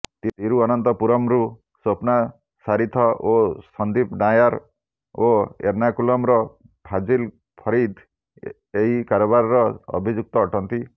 ତିରୁଅନନ୍ତପୁରମରୁ ସ୍ବପ୍ନା ସାରିଥ ଓ ସନ୍ଦୀପ ନାୟର ଓ ଏର୍ଣ୍ଣାକୁଲମର ଫାଜିଲ ଫରିଦ ଏହି କାରବାରର ଅଭିଯୁକ୍ତ ଅଟନ୍ତି